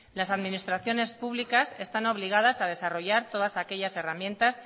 las administraciones están obligadas a desarrollar todas aquellas herramientas